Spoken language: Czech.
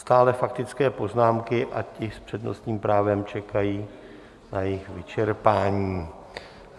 Stále faktické poznámky a ti s přednostním právem čekají na jejich vyčerpání.